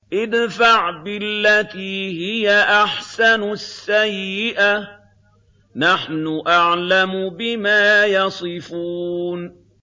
ادْفَعْ بِالَّتِي هِيَ أَحْسَنُ السَّيِّئَةَ ۚ نَحْنُ أَعْلَمُ بِمَا يَصِفُونَ